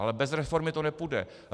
Ale bez reformy to nepůjde.